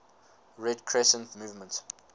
red crescent movement